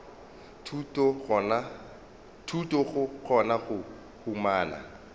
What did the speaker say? thuto go kgona go humana